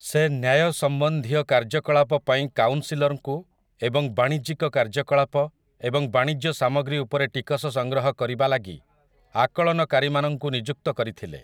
ସେ ନ୍ୟାୟ ସମ୍ବନ୍ଧୀୟ କାର୍ଯ୍ୟକଳାପ ପାଇଁ କାଉନ୍ସିଲର୍‌ଙ୍କୁ ଏବଂ ବାଣିଜ୍ୟିକ କାର୍ଯ୍ୟକଳାପ ଏବଂ ବାଣିଜ୍ୟ ସାମଗ୍ରୀ ଉପରେ ଟିକସ ସଂଗ୍ରହ କରିବା ଲାଗି ଆକଳନକାରୀମାନଙ୍କୁ ନିଯୁକ୍ତ କରିଥିଲେ ।